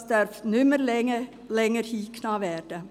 Das darf nicht mehr länger hingenommen werden.